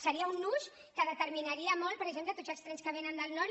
seria un ús que determinaria molt per exemple tots els trens que vénen del nord